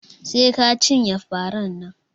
Sai ka cinye faran nan